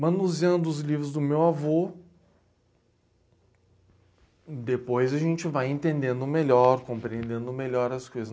Manuseando os livros do meu avô, depois a gente vai entendendo melhor, compreendendo melhor as coisas.